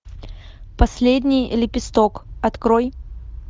последний лепесток открой